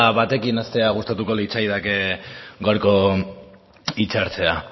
batekin hastea gustatuko litzaidake gaurko hitzartzea